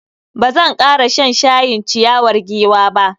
Bazan kara shan shayin ciyawar giwa ba.